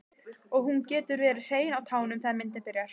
Og hún getur verið hrein á tánum þegar myndin byrjar.